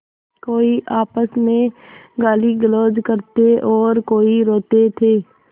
कोई आपस में गालीगलौज करते और कोई रोते थे